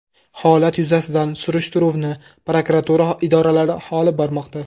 Holat yuzasidan surishtiruvni prokuratura idoralari olib bormoqda.